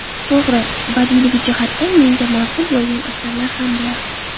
To‘g‘ri, badiiyligi jihatdan menga ma’qul bo‘lgan asarlar ham bor.